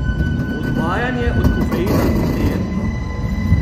Odvajanje od kofeina ni prijetno.